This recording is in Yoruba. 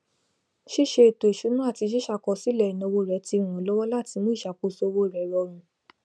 ṣísẹ ètòìṣúná àti ṣísàkọsílẹ ináwó rẹ ti ràn án lọwọ láti mú iṣakoso owó rẹ rọrùn